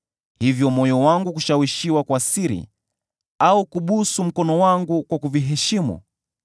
hivyo moyo wangu kushawishiwa kwa siri, au kubusu mkono wangu kwa kuviheshimu,